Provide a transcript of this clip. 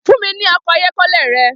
Fun mi ni ọkọ ayọkẹlẹ rẹ!